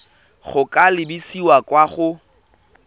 go ka lebisa kwa go